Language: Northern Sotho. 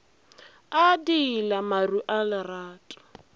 a diila maru a lerato